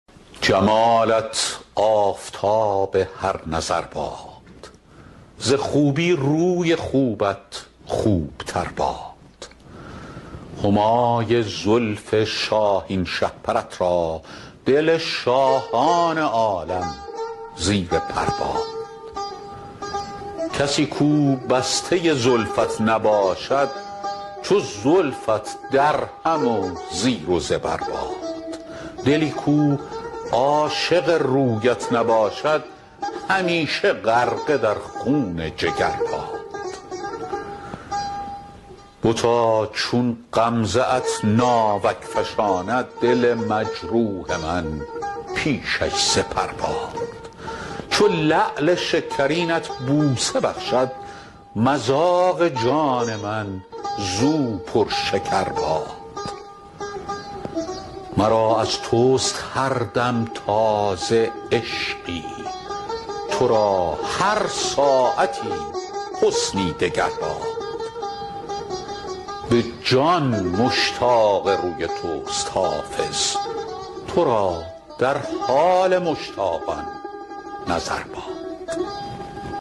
جمالت آفتاب هر نظر باد ز خوبی روی خوبت خوب تر باد همای زلف شاهین شهپرت را دل شاهان عالم زیر پر باد کسی کو بسته زلفت نباشد چو زلفت درهم و زیر و زبر باد دلی کو عاشق رویت نباشد همیشه غرقه در خون جگر باد بتا چون غمزه ات ناوک فشاند دل مجروح من پیشش سپر باد چو لعل شکرینت بوسه بخشد مذاق جان من زو پرشکر باد مرا از توست هر دم تازه عشقی تو را هر ساعتی حسنی دگر باد به جان مشتاق روی توست حافظ تو را در حال مشتاقان نظر باد